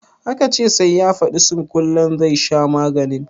Aka ce sai ya fadi surkullen zai sha maganin?